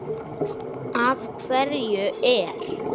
Af hverju er